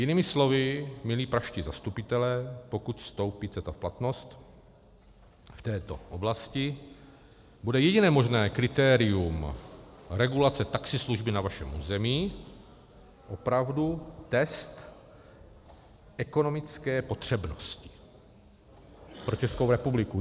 Jinými slovy, milí pražští zastupitelé, pokud vstoupí CETA v platnost v této oblasti, bude jediné možné kritérium regulace taxislužby na vašem území, opravdu, test ekonomické potřebnosti pro Českou republiku.